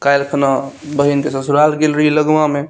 काइल खुणा बहिन के ससुराल गेल रही लगमा में।